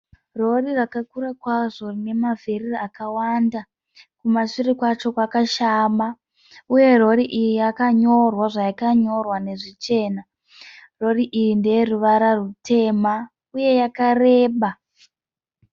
Rori rakakura kwazvo rinemavhiri akawanda. Kumashure kwacho kwakashama. Uye rori iyi yakanyorwa zvayakanyorwa nezvichena. Rori iyi ndeyeruvara rutema uye yakareba.